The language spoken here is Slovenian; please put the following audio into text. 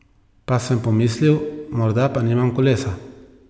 Pa sem pomislil, morda pa nima kolesa.